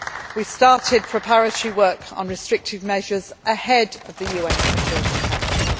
technical nature. We started preparatory work on restrictive measures ahead of the UN